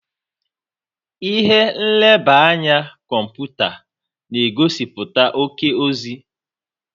Ihe nleba anya kọmputa na-egosiputa oke ozi.